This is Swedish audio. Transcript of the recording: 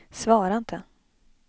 svara inte